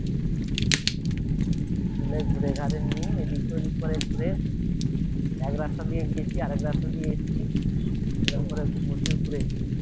ঘুরে ঘারে নিয়ে এদিক ওদিক করে ঘুরে এক রাস্তা দিয়ে গেছি আর এক রাস্তা দিয়ে এসেছি এরকম করে প্রচুর ঘুরেছি